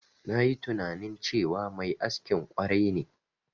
Nayi tunani cewa mai askin ƙwarai ne.